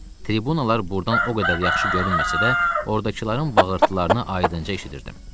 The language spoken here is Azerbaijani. Tribunalar buradan o qədər yaxşı görünməsə də, oradakıların bağırtılarını aydınca eşidirdim.